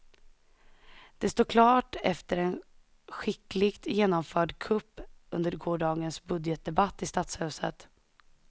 Det står klart efter en skickligt genomförd kupp under gårdagens budgetdebatt i stadshuset.